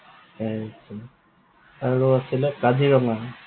আৰু আছিলে কাজিৰঙা।